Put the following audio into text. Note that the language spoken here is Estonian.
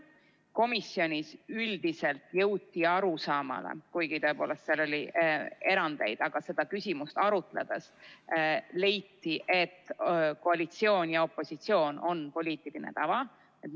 Komisjonis üldiselt jõuti seda küsimust arutades arusaamale – kuigi seal oli tõepoolest erandeid –, et koalitsioon ja opositsioon on poliitiline tava.